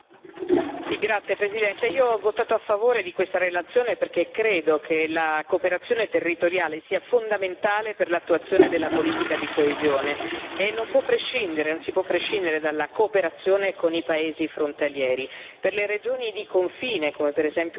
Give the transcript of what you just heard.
Signor Presidente, onorevoli colleghi, ho votato a favore di questa relazione perché credo che la cooperazione territoriale sia fondamentale per l'attuazione della politica di coesione, e non si può prescindere dalla cooperazione con i paesi frontalieri.